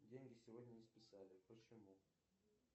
деньги сегодня не списали почему